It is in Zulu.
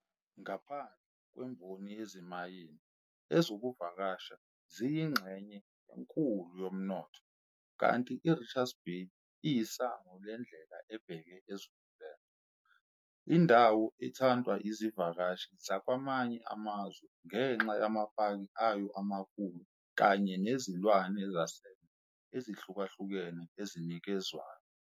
Ngaphandle kwemboni yezimayini, ezokuvakasha ziyingxenye enkulu yomnotho, kanti iRichards Bay iyisango lendlela ebheke eZululand, indawo ethandwa izivakashi zakwamanye amazwe ngenxa yamapaki ayo amakhulu kanye nezilwane zasendle ezihlukahlukene ezinikezwayo.